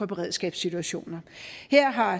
beredskabssituationer her har